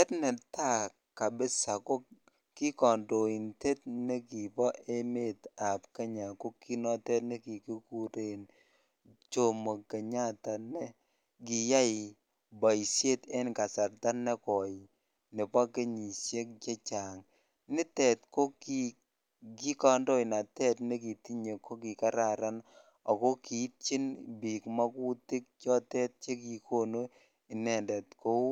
En netai kabisa ko kikandoindet nekibo emet ab Kenya ko konoton nekikuren nomo Kenyatta NE kiyae baishet en kasarta negoi missing Nebo kenyishek chechang nitet ko kikandoenatet nekitinye kokikararan ako kiitin bik makutik chotet chekikonu inendet Kou